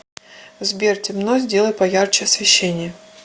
сбер темно сделай поярче освещение